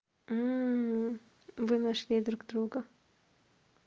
вы нашли друг друга